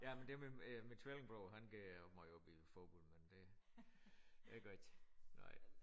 Ja men det min øh min tvillingebror han går måj op i fodbold men det jeg gør ikke nej